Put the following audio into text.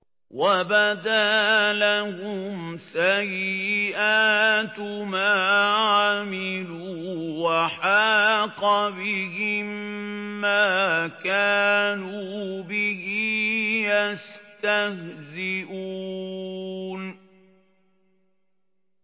وَبَدَا لَهُمْ سَيِّئَاتُ مَا عَمِلُوا وَحَاقَ بِهِم مَّا كَانُوا بِهِ يَسْتَهْزِئُونَ